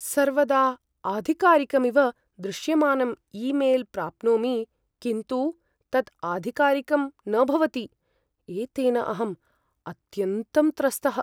सर्वदा आधिकारिकमिव दृश्यमानं ई मेल् प्राप्नोमि किन्तु तत् आधिकारिकं न भवति । एतेन अहम् अत्यन्तं त्रस्तः ।